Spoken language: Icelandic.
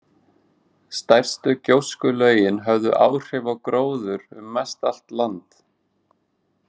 Stærstu gjóskulögin höfðu áhrif á gróður um mestallt land.